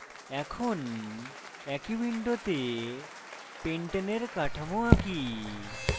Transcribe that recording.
এখন একই window pentane এর কাঠামো আঁকি